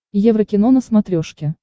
еврокино на смотрешке